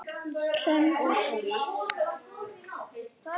Hrönn og Tómas.